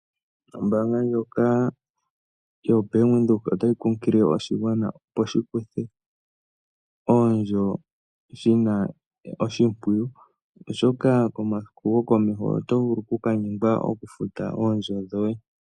Ombaanga ndjoka yoBank Windhoek otayi kunkilile oshigwana opo shikutha oondjo shina oshimpwiyu oshoka komasiku gokomeho oto vulu okukanyengwa okufuta oondjo dhoye.